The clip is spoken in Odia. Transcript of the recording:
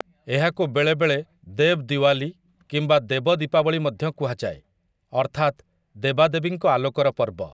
ଏହାକୁ ବେଳେବେଳେ 'ଦେବ୍ ଦିୱାଲି' କିମ୍ବା 'ଦେବ ଦୀପାବଳି' ମଧ୍ୟ କୁହାଯାଏ, ଅର୍ଥାତ୍, ଦେବାଦେବୀଙ୍କ ଆଲୋକର ପର୍ବ ।